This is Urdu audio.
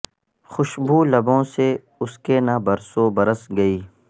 خوشبو لبوں سے اس کے نہ برسو برس گئی